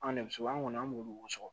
An de bɛ sobu an kɔni an b'olu sɔrɔ